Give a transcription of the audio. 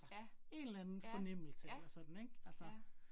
Ja, ja ja, ja